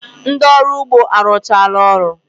Ndị ọrụ ugbo arụchala ọrụ